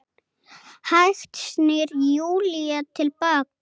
Hægt snýr Júlía til baka.